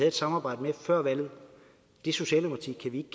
et samarbejde med før valget det socialdemokrati kan vi